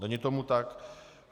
Není tomu tak.